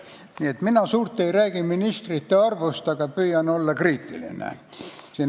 Nii et mina suurt ei räägi oma sõnavõtus ministrite arvust, aga püüan olla kriitiline.